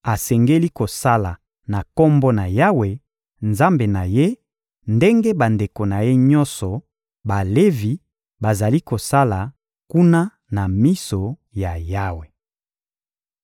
asengeli kosala na Kombo na Yawe, Nzambe na ye, ndenge bandeko na ye nyonso Balevi bazali kosala kuna na miso ya Yawe.